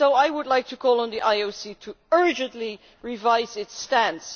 I would like to call on the IOC to urgently revise its stance.